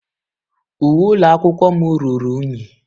Uwe ụlọ akwụkwọ m ruru unyi.